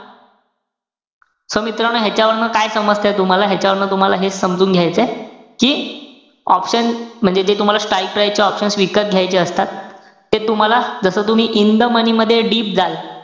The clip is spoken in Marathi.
So मित्रानो, ह्याच्यावरनं काय समजतय तुम्हाला? ह्याच्यावरनं तुम्हाला हेच समजून घायचंय कि option म्हणजे जे तुम्हाला strike price चे option विकत घायचे असतात. ते तुम्हाला जस तुम्ही in the money मध्ये deep जाल,